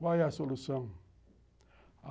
Qual é a solução?